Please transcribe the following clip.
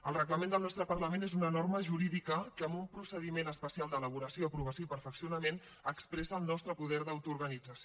el reglament del nostre parlament és una norma jurídica que en un procediment especial d’elaboració aprovació i perfeccionament expressa el nostre poder d’autoorganització